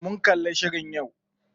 Mun kalli shirin yau.